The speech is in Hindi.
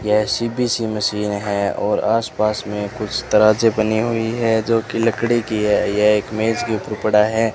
यह सी_पी_सी मशीन है और आसपास में कुछ तरह से बनी हुई है जो कि लकड़ी की है यह एक मेज के ऊपर पड़ा है।